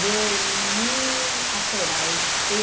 De mil... Espera aí.